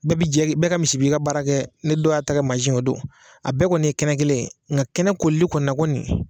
Bɛɛ bi jɛ bɛɛ ka misi b'i ka baara kɛ ni dɔ y'a ta kɛ mansin o don a bɛɛ kɔni ye kɛnɛ kelen nga kɛnɛ kolili kɔni na kɔni